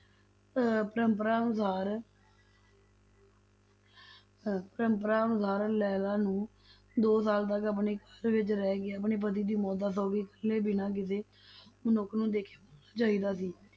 ਅਹ ਪਰੰਪਰਾ ਅਨੁਸਾਰ ਅਹ ਪਰੰਪਰਾ ਅਨੁਸਾਰ ਲੈਲਾ ਨੂੰ ਦੋ ਸਾਲ ਤੱਕ ਆਪਣੇ ਘਰ ਵਿੱਚ ਰਹਿ ਕੇ ਆਪਣੇ ਪਤੀ ਦੀ ਮੌਤ ਦਾ ਸੋਗ ਇੱਕਲੇ ਬਿਨਾਂ ਕਿਸੇ ਮਨੁੱਖ ਨੂੰ ਦੇਖੇ ਮਨਾਉਣਾ ਚਾਹੀਦਾ ਸੀ,